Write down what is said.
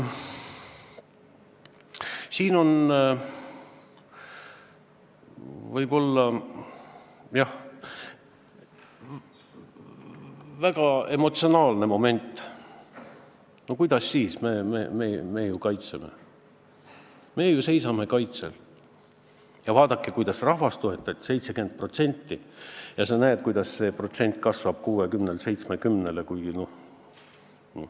Siin võib olla, jah, väga emotsionaalne moment: kuidas siis, me ju kaitseme, me ju seisame kaitsel, ja vaadake, kuidas rahvas toetab, 70%, sa näed, kuidas see protsent kasvab 60-lt 70-le!